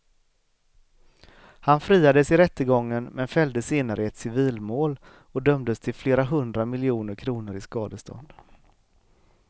Han friades i rättegången men fälldes senare i ett civilmål och dömdes till flera hundra miljoner kronor i skadestånd.